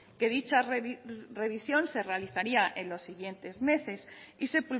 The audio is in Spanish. que dicha revisión se realizaría en los siguientes meses y se